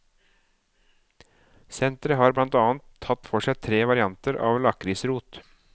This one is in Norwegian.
Senteret har blant annet tatt for seg tre varianter av lakrisrot.